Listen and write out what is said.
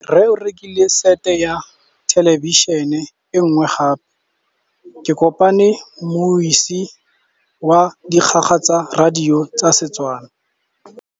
Rre o rekile sete ya thêlêbišênê e nngwe gape. Ke kopane mmuisi w dikgang tsa radio tsa Setswana.